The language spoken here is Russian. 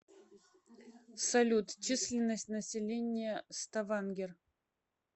салют численность населения ставангер